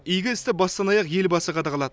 игі істі бастан аяқ елбасы қадағалады